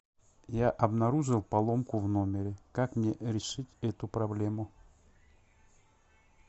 я обнаружил поломку в номере как мне решить эту проблему